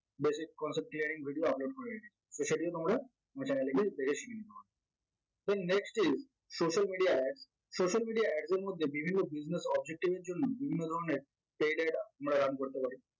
basic concept clearing video upload করে রেখেছি so সেটিও তোমরা আমার channet এ গিয়ে দেখে শিখে নিও তো next step social media ad social media Ads এর মধ্যে বিভিন্ন business objective এর জন্য বিভিন্ন ধরনের run করতে পারি